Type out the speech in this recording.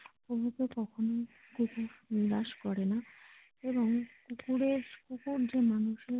প্রভুকে কখনোই কুকুর নিরাশ করে না এবং কুকুরের ওপর যে মানুষের।